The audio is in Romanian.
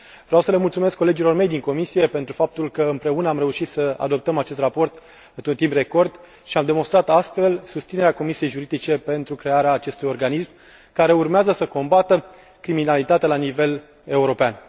Vreau să le mulțumesc colegilor mei din comisie pentru faptul că, împreună, am reușit să adoptăm acest raport într un timp record și am demonstrat astfel susținerea Comisiei pentru afaceri juridice pentru crearea acestui organism, care urmează să combată criminalitatea la nivel european.